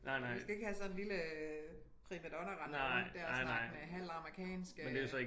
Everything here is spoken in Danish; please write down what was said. Vi skal ikke have sådan en lille øh primadonna rende rundt dér snakkende halvt amerikansk